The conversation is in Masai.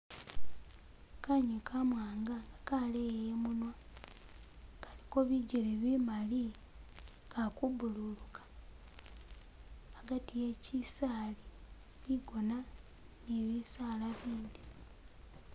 Kanyunyi kamwanga kaleya imunwa kaliko bijele bimali kalikubululuka hagati he chisaali bigona ni bisaala bindi.